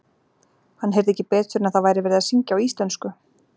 Hann heyrði ekki betur en að það væri verið að syngja á íslensku.